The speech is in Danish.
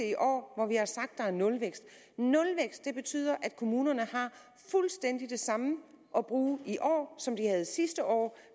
i år hvor vi har sagt at der er nulvækst nulvækst betyder at kommunerne har fuldstændig det samme at bruge i år som de havde sidste år